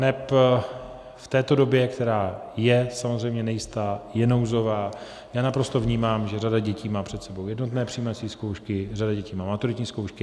Neb v této době, která je samozřejmě nejistá, je nouzová, já naprosto vnímám, že řada dětí má před sebou jednotné přijímací zkoušky, řada dětí má maturitní zkoušky.